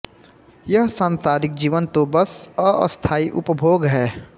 यह सांसारिक जीवन तो बस अस्थायी उपभोग है